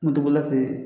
Moto bolila fɛ yen